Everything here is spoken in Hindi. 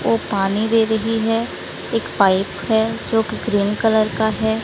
वह पानी दे रही है एक पाइप है जो कि ग्रीन कलर का है।